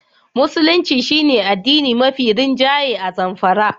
Musulunci shi ne addini mafi rinjaye a Zamfara.